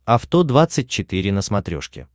авто двадцать четыре на смотрешке